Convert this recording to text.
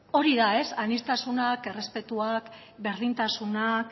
hori da ez aniztasunak errespetuak berdintasunak